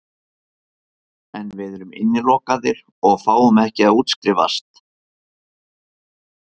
En við erum innilokaðir og fáum ekki að útskrifast.